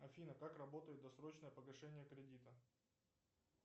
афина как работает досрочное погашение кредита